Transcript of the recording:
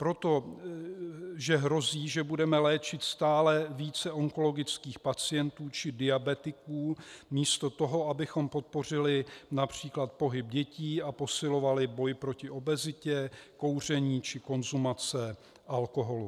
Protože hrozí, že budeme léčit stále více onkologických pacientů či diabetiků místo toho, abychom podpořili například pohyb dětí a posilovali boj proti obezitě, kouření či konzumaci alkoholu.